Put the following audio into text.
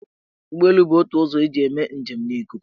Ụgbọelu bụ ótù ụzọ eji eme njem n' ikuku.